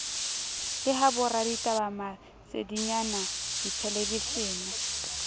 le ha boraditaba masedinyana dithelebishene